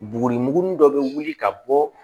Buguri muguni dɔ bɛ wuli ka bɔ